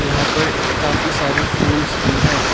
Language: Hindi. यहां पर काफी सारे फूल्स भी है।